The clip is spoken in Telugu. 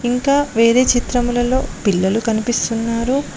ఇంక వేరే చిత్రములలో పిల్లలు కనిపిస్తున్నారు.